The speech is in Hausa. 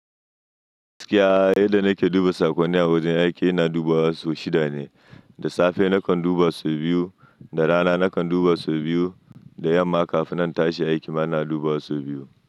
Gaskiya yadda nake duba sakonni a wajen aiki ina duba wa sau shida ne. Da safe nakan duba sau biyu, da rana nakan duba sau biyu, da yamma kafin na tashi aiki ma ina duba sau biyu.